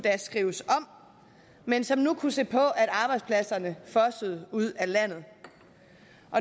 skrives om men som nu kunne se på at arbejdspladserne fossede ud af landet